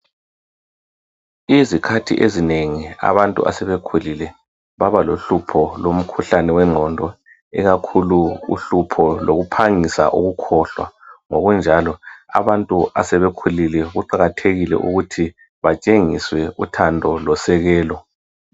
Izikhathi ezinengi abantu asebekhulile babalohlupha olwengqondo ikakhulu uhlupho lokuphangisa ukukhohlwa ngokunjalo abantu asebekhulile kuqakathekile ukuthi batshengiswe uthando losekelo